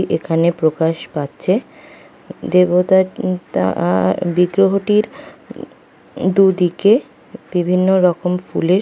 দেবতাত মুখটা আ আহ বিগ্রহটির দুদিকে বিভিন্ন রকম ফুলের সা সয় সাজ সরঞ্জাম রয়েছে।